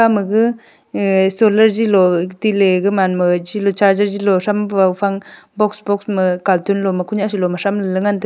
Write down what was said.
amma ga ae solar ze lo ka ti ley ga man ma charger che lo tham pa fang box box ma cartoon loma ku nyah ku lo ma tham ley ngan taega.